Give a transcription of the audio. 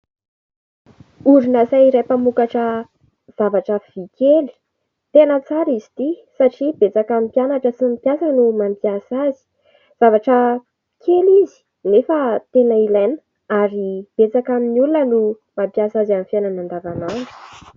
Orinasa iray mpamokatra zavatra vy kely, tena tsara izy ity satria betsaka amin'ny mpianatra sy ny mpiasa no mampiasa azy, zavatra kely izy nefa tena ilaina ary betsaka amin'ny olona no mampiasa azy amin'ny fiainana an-davan'andro.